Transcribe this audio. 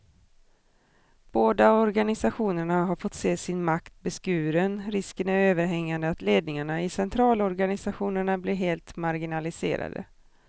Båda organisationerna har fått se sin makt beskuren, risken är överhängande att ledningarna i centralorganisationerna blir helt marginaliserade.